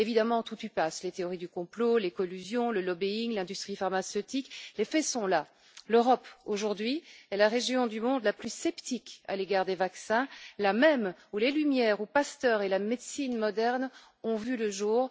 Évidemment, tout y passe les théories du complot, les collusions, le lobbying, l'industrie pharmaceutique. Or, les faits sont là l'Europe, aujourd'hui, est la région du monde la plus sceptique à l'égard des vaccins, là même où les Lumières, Pasteur et la médecine moderne ont vu le jour.